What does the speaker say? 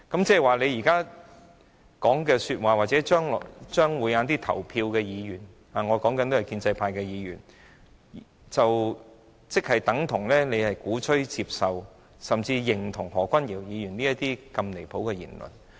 不過，如果建制派議員投票支持陳克勤議員的議案，便等同鼓吹、接受甚至認同何君堯議員如此離譜的言論。